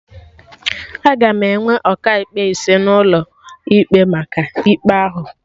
Aga enwe Ọkaikpe ise n'ime ụlọ ikpe maka ikpe ahụ